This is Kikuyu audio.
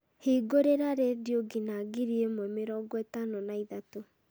hingũrĩra rĩndiũ nginya ngiri ĩmwe mĩrongo ĩtano na ithatũ